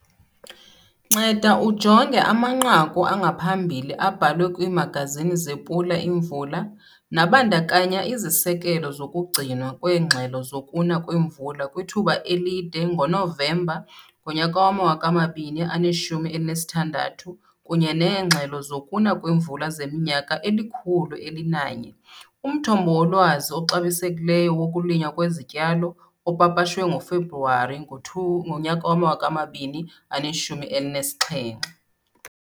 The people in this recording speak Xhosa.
Nceda ujonge amanqaku angaphambili abhalwe kwiimagazini zePula Imvula, nabandakanya iziseko zokugcinwa kweengxelo zokuna kwemvula kwithuba elide ngoNovemba ngo-2016 kunye neengxelo zokuna kwemvula zeminyaka eli-101 - umthombo wolwazi oxabisekileyo wokulinywa kwezityalo opapashwe ngoFebruwari ngo-two ngo-2017.